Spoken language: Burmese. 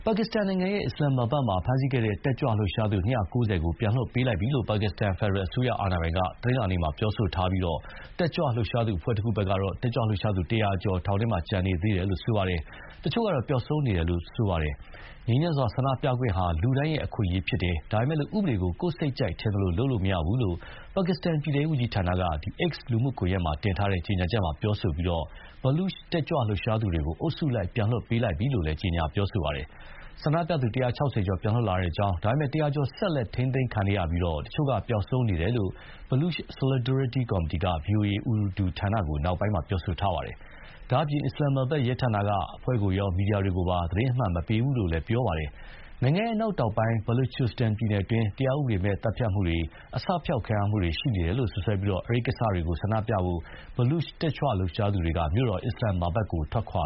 ါကစ္စတန်နိုင်ငံ အစ္စလာမ္မာဘတ်မှာဖမ်းဆီးခဲ့တဲ့ တက်ကြွလှုပ်ရှားသူ ၂၉၀ ကို ပြန်လွှတ်ပေးလိုက်ပြီလို့ ပါကစ္စတန် ဖယ်ဒရယ်အစိုးရ အာဏာပိုင်တို့က တနင်္လာနေ့မှာ ပြောထားပြီး တက်ကြွလှုပ်ရှားသူ အဖွဲ့တခုကတော့ တက်ကြွလှုပ်ရှားသူ ၁၀၀ ကျော် ထောင်ထဲမှာကျန်ရှိနေသေးပြီး တချို့ကတော့ ပျောက်ဆုံးနေတယ်လို့ ဆိုပါတယ်။ “ငြိမ်းချမ်းစွာ ဆန္ဒပြခွင့်ဟာ လူတိုင်းရဲ့အခွင့်အရေး ဖြစ်တယ်၊ ဒါပေမဲ့ ဥပဒေကို ကိုယ့်စိတ်ကြိုက် ထင်သလိုလုပ်လို့ မရဘူး။” လို့ ပါကစ္စတန် ပြည်ထဲရေးဝန်ကြီးဌာနက X လူမှုကွန်ရက်မှာတင်ထားတဲ့ကြေညာချက်မှာ ပြောဆိုထားပြီး Baloch တက်ကြွလှုပ်ရှားသူတွေကို အုပ်စုလိုက် ပြန်လွှတ်ပေးပြီးပြီလို့လည်း ကြေညာထားပါတယ်။ ဆန္ဒပြသူ ၁၆၀ ကျော် ပြန်လွတ်လာကြောင်း၊ ဒါပေမဲ့ ၁၀၀ ကျော် ဆက်လက် ထိန်းသိမ်းခံနေရပြီး တချို့က ပျောက်ဆုံးနေတယ်လို့ Baloch Solidarity ကော်မတီက ဗွီအိုအေ Urdu ဌာနကို နောက်ပိုင်းမှာ ပြောဆိုထားပါတယ်။ ဒါ့အပြင် အစ္စလာမ္မာဘတ် ရဲဌာနက အဖွဲ့ကိုရော မီဒီယာတွေကိုပါ သတင်းအမှန် မပေးဘူးလို့လည်း ပြောပါတယ်။ နိုင်ငံ အနောက်တောင်ပိုင်း၊ ဘာလူချစ္စတန် ပြည်နယ်တွင်း တရားဥပဒေမဲ့ သတ်ဖြတ်မှုတွေ၊ အစဖျောက်ခံရမှုတွေ ရှိနေတယ်လို့ စွပ်စွဲပြီး အဲဒီကိစ္စတွေကို ဆန္ဒပြဖို့အတွက် Baloch တက်ကြွလှုပ်ရှားသူတွေက မြို့တော် အစ္စလာမ္မာဘတ်ကို ထွက်ခွာ